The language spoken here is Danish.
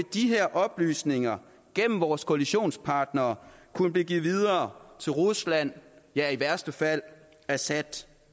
de her oplysninger gennem vores koalitionspartnere kunne blive givet videre til rusland ja i værste fald assad